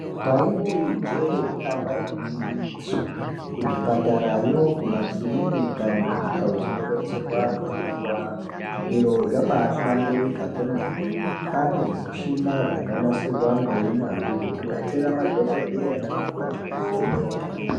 Taiti ijee ndamba igwinyiso. Kuzvipatarayo, kumakirika, nekundau dzinobetserwa antu anorwara, zviro zvabahlamburika kwomene..Kwaane zvimushina zvakanasirwa ngeunyanzvi zvekubetsera madhokodheya naana mukoti kuvheneka.